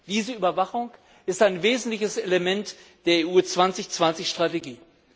Diese Überwachung ist ein wesentliches Element der EU 2020 Strategie.